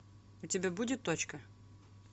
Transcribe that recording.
у тебя будет точка